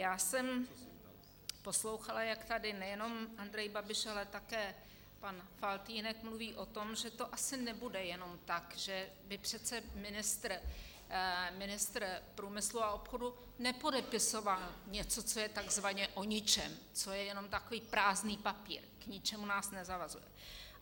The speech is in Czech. Já jsem poslouchala, jak tady nejenom Andrej Babiš, ale také pan Faltýnek mluví o tom, že to asi nebude jenom tak, že by přece ministr průmyslu a obchodu nepodepisoval něco, co je tzv. o ničem, co je jenom takový prázdný papír, k ničemu nás nezavazuje.